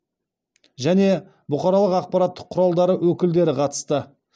және бұқаралық ақпарат құралдары өкілдері қатысты